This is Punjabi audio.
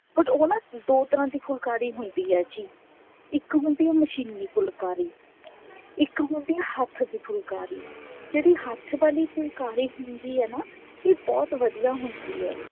but ਉਹ ਨਾ ਦੋ ਤਰ੍ਹਾਂ ਦੀ ਫੁਲਕਾਰੀ ਹੁੰਦੀ ਹੈ ਜੀ ਇੱਕ ਹੁੰਦੀ ਹੈ ਮਸ਼ੀਨੀ ਫੁਲਕਾਰੀ ਇੱਕ ਹੁੰਦੀ ਹੈ ਹੱਠ ਦੀ ਫੁਲਕਾਰੀ ਜਿਹੜੀ ਹੱਥ ਵਾਲੀ ਫੁਲਕਾਰੀ ਹੁੰਦੀ ਹੈ ਨਾ ਬਹੁਤ ਵਧੀਆ ਹੁੰਦੀ ਹੈ